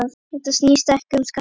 Þetta snýst ekki um skatta.